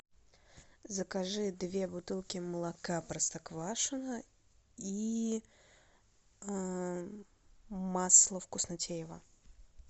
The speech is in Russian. закажи две бутылки молока простоквашино и масло вкуснотеево